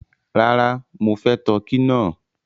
Ràrà, mọ fẹ̀ Tọkì náà